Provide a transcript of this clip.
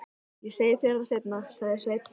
Ég segi þér það seinna, sagði Sveinn.